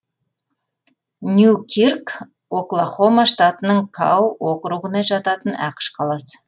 ньюкирк оклахома штатының кау округіне жататын ақш қаласы